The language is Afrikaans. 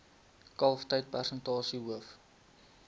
kalftyd persentasie hoof